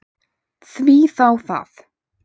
Því þá það?